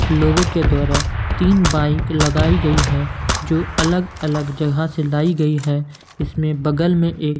लोगों के द्वारा तीन बाइक लगाई गई है जो अलग अलग जगह से लाई गई है इसमें बगल में एक--